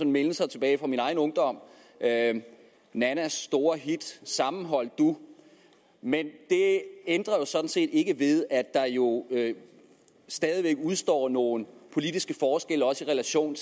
mindelser tilbage fra min egen ungdom nannas store hit sammenhold du men det ændrer sådan set ikke ved at der jo stadig væk udstår nogle politiske forskelle også i relation